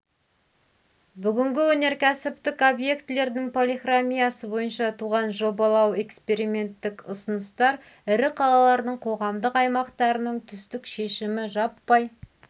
бүгінгі өнеркәсіптік объектілердің полихромиясы бойынша туған жобалау эксперименттік ұсыныстар ірі қалалардың қоғамдық аймақтарының түстік шешімі жаппай